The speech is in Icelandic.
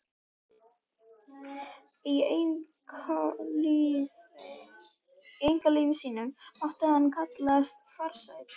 Í einkalífi sínu mátti hann kallast farsæll.